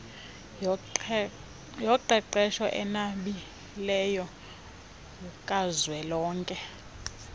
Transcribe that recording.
yoqeqesho enabileyo kazwelonke